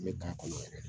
N bɛ k'a kɔnɔ yɛrɛ